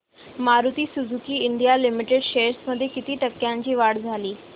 Maruti Suzuki India limited shares मध्ये किती टक्क्यांची वाढ झाली